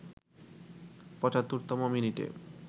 ৭৫তম মিনিটে